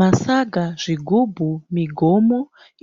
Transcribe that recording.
Masaga, zvigubhu, migomo